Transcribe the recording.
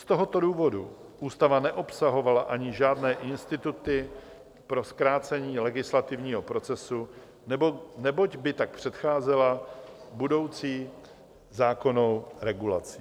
Z tohoto důvodu ústava neobsahovala ani žádné instituty pro zkrácení legislativního procesu, neboť by tak předcházela budoucí zákonnou regulaci.